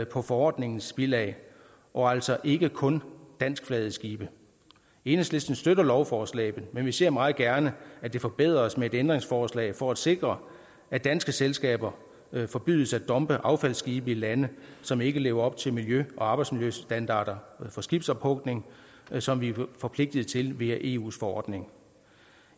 på forordningens bilag og altså ikke kun danskflagede skibe enhedslisten støtter lovforslaget men vi ser meget gerne at det forbedres med et ændringsforslag for at sikre at danske selskaber forbydes at dumpe affaldsskibe i lande som ikke lever op til miljø og arbejdsmiljøstandarder for skibsophugning som vi er forpligtet til via eus forordning